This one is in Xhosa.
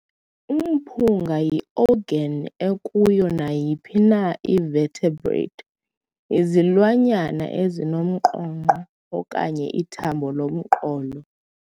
Umphunga yi-organ ekuyo nayiphi na ii-vertebrate, izilwanyana ezinomnqonqo, okanye ithambo lomqolo.